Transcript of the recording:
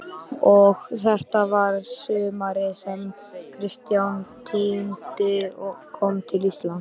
Og þetta var sumarið sem Kristján tíundi kom til Íslands.